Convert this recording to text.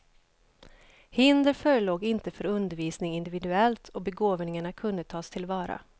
Hinder förelåg inte för undervisning individuellt och begåvningarna kunde tas tillvara.